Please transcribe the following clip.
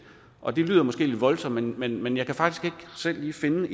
og det lyder måske lidt voldsomt men men jeg kan faktisk ikke selv lige finde